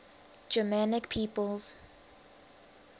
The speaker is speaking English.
germanic peoples